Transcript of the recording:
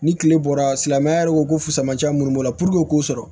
Ni kile bɔra silamɛya yɛrɛ ko ko fama cɛ munnu b'o la puruke k'o sɔrɔ